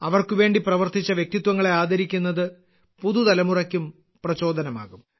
അവർക്കുവേണ്ടി പ്രവർത്തിച്ച വ്യക്തിത്വങ്ങളെ ആദരിക്കുന്നത് പൊതുതലമുറയ്ക്കും പ്രചോദനമാകും